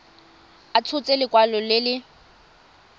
a tshotse lekwalo le le